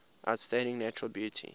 outstanding natural beauty